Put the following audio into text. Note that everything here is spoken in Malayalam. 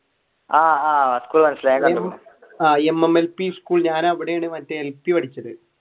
ആഹ് ആഹ് mmlp school ഞാൻ മറ്റേ അവിടെയാണ് എൽ പി പഠിച്ചത്